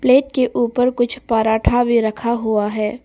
Plate के ऊपर कुछ पराठा भी रखा हुआ है।